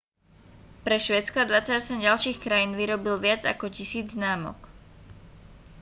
pre švédsko a 28 ďalších krajín vyrobil viac ako 1000 známok